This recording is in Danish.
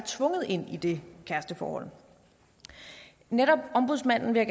tvunget ind i det kæresteforhold netop ombudsmanden vil